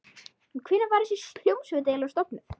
En hvenær var þessi hljómsveit eiginlega stofnuð?